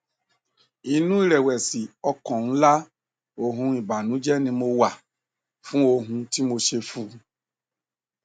inú ìrẹwẹsì ọkàn ńlá òhun ìbànújẹ ni mo wà fún ohun tí mo ṣe fún un